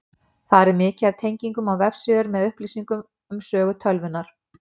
Þar er mikið af tengingum á vefsíður með upplýsingum um sögu tölvunnar.